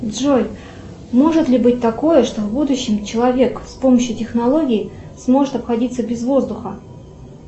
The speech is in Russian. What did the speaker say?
джой может ли быть такое что в будущем человек с помощью технологий сможет обходиться без воздуха